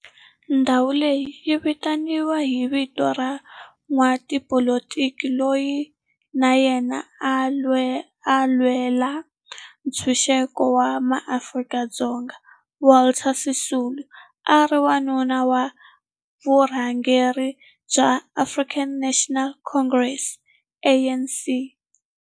Ndhawo leyi yi vitaniwa hi vito ra n'watipolitiki loyi na yena a lwela ntshuxeko wa maAfrika-Dzonga Walter Sisulu, a ri wun'wana wa varhangeri va African National Congress, ANC.